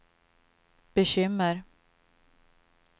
bekymmer